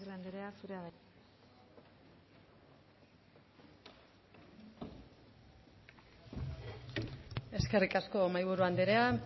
agirre anderea zurea da hitza eskerrik asko mahaiburu anderea